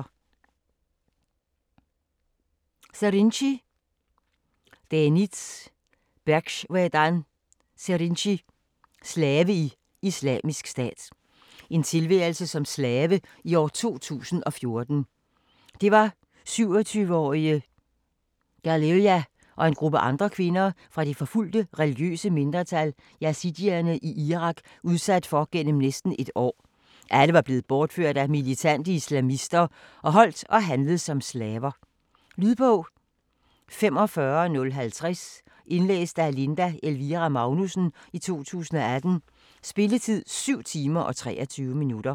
Serinci, Deniz Berxwedan: Slave i Islamisk Stat En tilværelse som slave i år 2014. Det var 27-årige Ghaliya og en gruppe andre kvinder fra det forfulgte, religiøse mindretal yazidierne i Irak udsat for igennem næsten et år. Alle var blevet bortført af militante islamister og holdt og handlet som slaver. Lydbog 45050 Indlæst af Linda Elvira Magnussen, 2018. Spilletid: 7 timer, 23 minutter.